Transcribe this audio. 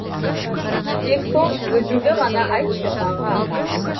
тек сол сөзіңді ғана айтшы аға